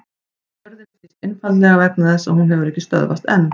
Jörðin snýst einfaldlega vegna þess að hún hefur ekki stöðvast enn!